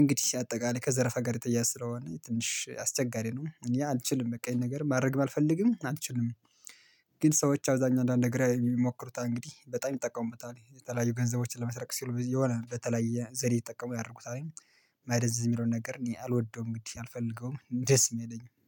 እንግዲህ አጠቃላይ ከዘረፋ ጋር የተያያዘ ስለሆነ ትንሽ አስቸጋሪ ነው እኔ አልችልም በቃ ይሄን ነገር ማድረግ አልፈልግም አልችልም። ግን ሰዎች አብዛኛው አንዳንድ ነገር የሚሞክሩት እንግዲህ በጣም ይጠቀሙበታል የተለያዩ ገንዘቦችን ለመስረቅ ሲሉ የሆነ በተለያየ ዘዴ ይጠቀሙ ያድርጉታል። ማደንዘዝ የሚለውን ነገር እኔ አልወደውም እንግዲህ አልፈልገውም ደስም አይለኝም